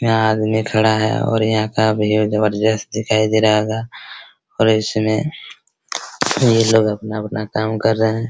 यहाँ आदमी खड़ा है और यहाँ का भीड़ जबरजस्त दिखाई दे रहा होगा और इसमें ये लोग अपना अपना काम कर रहे है ।